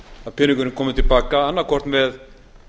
að peningurinn komi til baka annaðhvort með